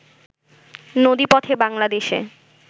নদীপথে বাংলাদেশে